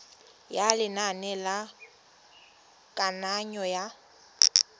ya lenane la kananyo ya